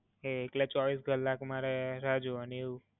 એટલે ચોવીસ કલાક મારે રાહ જોવાની એવું?